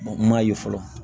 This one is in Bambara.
M'a ye fɔlɔ